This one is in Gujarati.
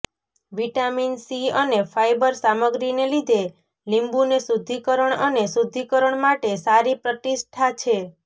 વિટામિન સી અને ફાઇબર સામગ્રીને લીધે લીંબુને શુદ્ધિકરણ અને શુદ્ધિકરણ માટે સારી પ્રતિષ્ઠા છે